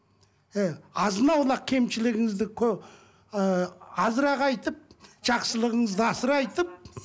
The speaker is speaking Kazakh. иә азын аулақ кемшілігіңізді ыыы азырақ айтып жақсылығыңызды асыра айтып